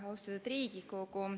Austatud Riigikogu!